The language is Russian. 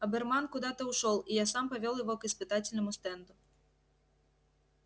оберман куда-то ушёл и я сам повёл его к испытательному стенду